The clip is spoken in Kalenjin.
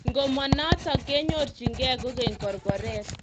Ngomanotok kinyorjigei kokeny korkoret.